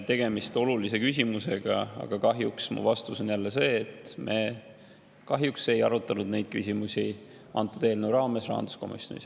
Tegemist on olulise küsimusega, aga kahjuks mu vastus on jälle see, et me ei arutanud neid küsimusi antud eelnõu raames rahanduskomisjonis.